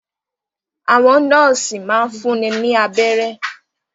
Àwọn nọ́ọ́sì máa ń fúnni ní abẹ́rẹ́.